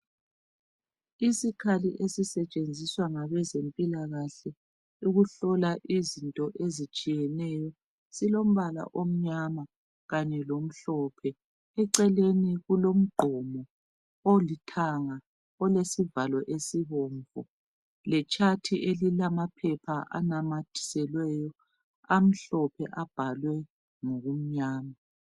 Isikhali esisetshenziswa ngabezempilakahle ukuhlola izinto ezitshiyeneyo silombala omnyama kanye lomhlophe. Eceleni kulomgqomo olithanga olesivalo esibomvu legwaliba elilamaphepha ananyathiselweyo amhlophe abhalwe ngokumnyama.